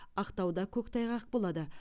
ақтауда көктайғақ болады